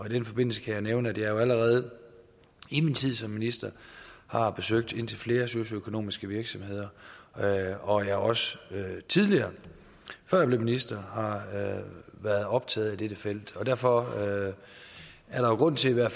i den forbindelse kan jeg nævne at jeg allerede i min tid som minister har besøgt indtil flere socialøkonomiske virksomheder og at jeg også tidligere før jeg blev minister har været optaget af dette felt derfor er der jo grund til at